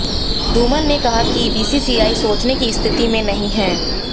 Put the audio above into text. धूमल ने कहा कि बीसीसीआई सोचने की स्थिति में नहीं है